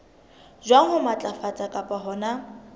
jwang ho matlafatsa kapa hona